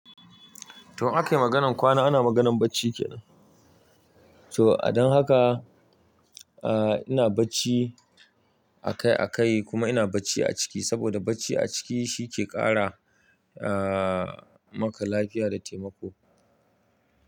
To, ake maganan kwana ana maganan bacci kenan. To a don haka, aa ina bacci akai akai kuma ina bacci a ciki saboda bacci a ciki shi ke ƙara aa maka lafiya da taimako.